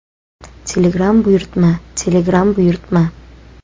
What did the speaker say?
Telegram buyurtma: Telegram buyurtma .